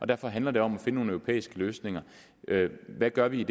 derfor handler det om at finde nogle europæiske løsninger hvad gør vi i